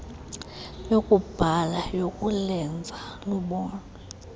yokubhala yokulenza lubonwe